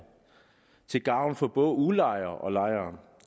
til gavn for både udlejere og lejere